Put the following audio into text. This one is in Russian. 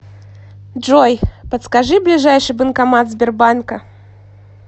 джой подскажи ближайший банкомат сбербанка